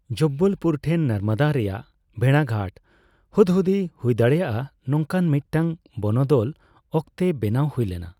ᱡᱚᱵᱵᱚᱞᱯᱩᱨ ᱴᱷᱮᱱ ᱱᱚᱨᱢᱚᱫᱟ ᱨᱮᱭᱟᱜ ᱵᱷᱮᱬᱟᱜᱷᱟᱴ ᱦᱩᱫᱦᱩᱫᱤ ᱦᱩᱭᱫᱟᱲᱮᱭᱟᱜ ᱱᱚᱝᱠᱟᱱ ᱢᱤᱫᱴᱟᱝ ᱵᱚᱱᱚᱫᱚᱞ ᱚᱠᱛᱮ ᱵᱮᱱᱟᱣ ᱦᱩᱭ ᱞᱮᱱᱟ ᱾